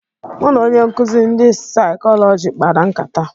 Mụ na onye nkụzị ndị Saịkọlọjị kpara nkata.